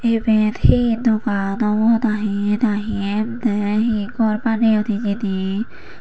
eben hi dogan obow na hi nahi te hi gor baneyon hi hijeni.